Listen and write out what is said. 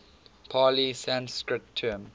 pali sanskrit term